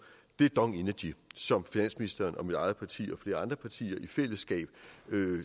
dong energy som finansministeren og mit eget parti og flere andre partier i fællesskab